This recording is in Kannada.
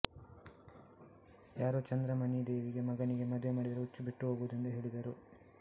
ಯಾರೋ ಚಂದ್ರಮಣಿದೇವಿಗೆ ಮಗನಿಗೆ ಮದುವೆ ಮಾಡಿದರೆ ಹುಚ್ಚು ಬಿಟ್ಟು ಹೋಗುವುದೆಂದು ಹೇಳಿದರು